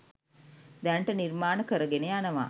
දැනට නිර්මාණ කරගෙන යනවා